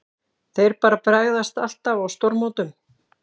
Þeir bara bregðast alltaf á stórmótum.